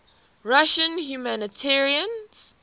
russian humanitarians